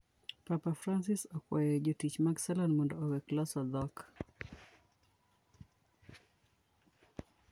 Papa Francis okwayo jotich mag salon mondo owek loso dhok